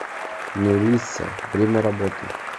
мелисса время работы